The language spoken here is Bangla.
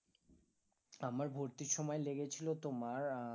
আমার ভর্তির সময় লেগেছিলো তোমার আহ